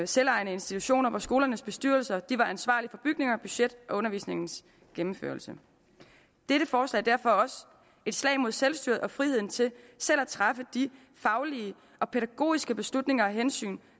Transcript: selvejende institutioner hvor skolernes bestyrelser var ansvarlige for bygninger budget og undervisningens gennemførelse dette forslag er derfor også et slag mod selvstyret og friheden til selv at træffe de faglige og pædagogiske beslutninger og hensyn